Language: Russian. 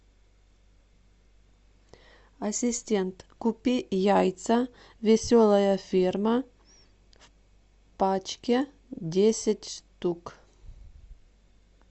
ассистент купи яйца веселая ферма в пачке десять штук